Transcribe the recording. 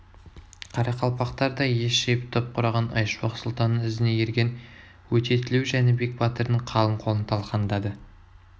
қарақалпақтар да ес жиып топ құраған айшуақ сұлтанның ізіне ерген өтетілеу жәнібек батырдың қалың қолын талқандады